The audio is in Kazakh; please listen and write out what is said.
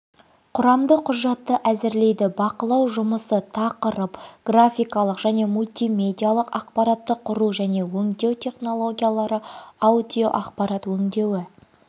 құрамды құжатты әзірлейді бақылау жұмысы тақырып графикалық және мультимедиалық ақпаратты құру және өңдеу технологиялары аудиоақпарат өңдеуі